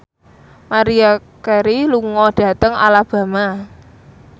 Maria Carey lunga dhateng Alabama